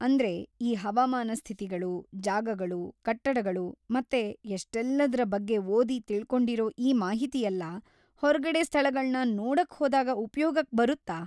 ಅಂದ್ರೆ, ಈ ಹವಾಮಾನ ಸ್ಥಿತಿಗಳು, ಜಾಗಗಳು, ಕಟ್ಟಡಗಳು ಮತ್ತೆ ಎಷ್ಟೆಲ್ಲದ್ರ ಬಗ್ಗೆ ಓದಿ ತಿಳ್ಕೊಂಡಿರೋ ಈ ಮಾಹಿತಿಯೆಲ್ಲ ಹೊರ್ಗಡೆ ಸ್ಥಳಗಳ್ನ ನೋಡಕ್‌ ಹೋದಾಗ ಉಪಯೋಗಕ್ ಬರುತ್ತಾ?